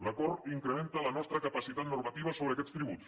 l’acord incrementa la nostra capacitat normativa sobre aquests tributs